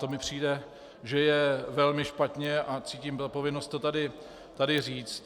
To mi přijde, že je velmi špatně, a cítím odpovědnost to tady říct.